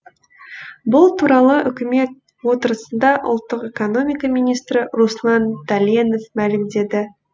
бұл туралы үкімет отырысында ұлттық экономика министрі руслан дәленов мәлімдеді